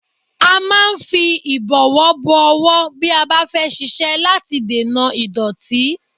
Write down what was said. A máa ń fi ìbọ̀wọ́ bọ ọwọ́ bí a bá fẹ́ ṣiṣẹ́ láti dènà ìdọ́tí